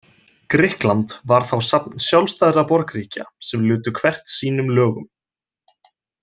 Grikkland var þá safn sjálfstæðra borgríkja sem lutu hvert sínum lögum.